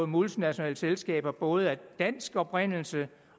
multinationale selskaber både af dansk oprindelse